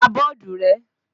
Pa bọ́ọ̀dù rẹ́!